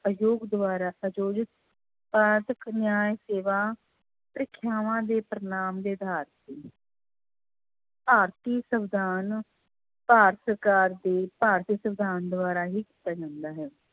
ਆਯੋਗ ਦੁਆਰਾ ਆਯੋਜਿਤ ਨਿਆਂਏ ਸੇਵਾ ਪ੍ਰੀਖਿਆਵਾਂ ਦੇ ਪਰਿਣਾਮ ਦੇ ਆਧਾਰ ਤੇ ਭਾਰਤੀ ਸਵਿਧਾਨ ਭਾਰਤ ਭਾਰਤੀ ਸਵਿਧਾਨ ਦੁਆਰਾ ਹੀ ਜਾਂਦਾ ਹੈ।